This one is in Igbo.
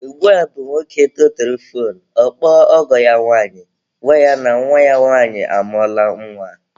Ugbua bụ nwoke tụtụrụ foonu, ọ kpọọ ọgọ ya nwanyị, gwa ya na nwa ya nwanyị amụọla nwa.